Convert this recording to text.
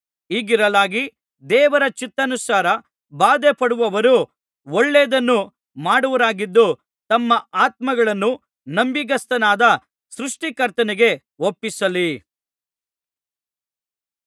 ಹೀಗಿರಲಾಗಿ ದೇವರ ಚಿತ್ತಾನುಸಾರ ಬಾಧೆಪಡುವವರು ಒಳ್ಳೆದನ್ನು ಮಾಡುವವರಾಗಿದ್ದು ತಮ್ಮ ಆತ್ಮಗಳನ್ನು ನಂಬಿಗಸ್ತನಾದ ಸೃಷ್ಟಿ ಕರ್ತನಿಗೆ ಒಪ್ಪಿಸಲಿ